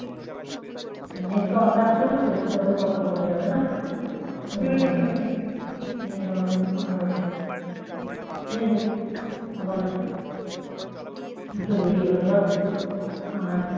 net তো on রাখতে হবে তবে কথা বলা যাবে না net on রেখে কথা বলতে হবে যাইহোক আবার দুটো বেরিয়ে গেল বাদ দে আর